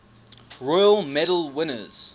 royal medal winners